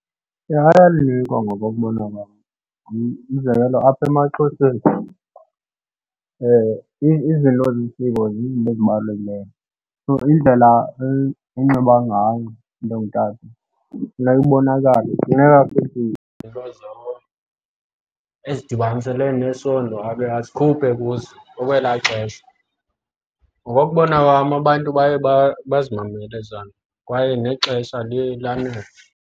Ayalinikwa ngokokubona kwam. Umzekelo apha emaXhoseni izinto zesiko zizinto ezibalulekileyo so indlela anxiba ngayo umntu ongutata, funeka ubonakale. Funeka futhi izinto ezidibaniselene nesondo ake azikhuphe kuzo okwelaa xesha. Ngokokubona kwam abantu baye bazimamelele ezaa nto kwaye nexesha liye lanele.